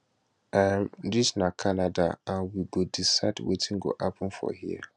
um dis na canada and we go decide wetin go happun for here